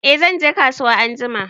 Eh zan je kasuwa anjima.